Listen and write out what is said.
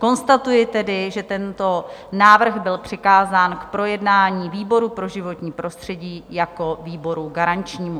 Konstatuji tedy, že tento návrh byl přikázán k projednání výboru pro životní prostředí jako výboru garančnímu.